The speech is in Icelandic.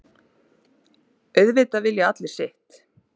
Auðvitað vilji allir sitt.